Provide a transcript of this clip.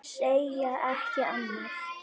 Segi ekki annað.